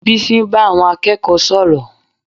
Bísí ń bá àwọn akẹ́kọ̀ọ́ sọ̀rọ̀